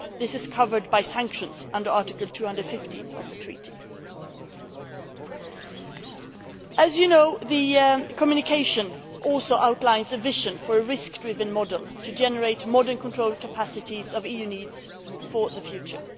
This is covered by sanctions under Article 215 of the Treaty. As you know, the Communication has also outlined a vision for a risk driven model to generate modern control capacities of EU needs for the future.